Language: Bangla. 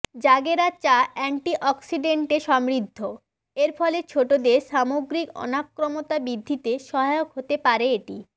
জাগেরা চা অ্যান্টিঅক্সিডেন্টে সমৃদ্ধ এর ফলে ছোটোদের সামগ্রিক অনাক্রম্যতা বৃদ্ধিতে সহায়ক হতে পারে এটি